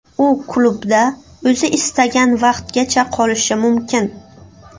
U klubda o‘zi istagan vaqtgacha qolishi mumkin.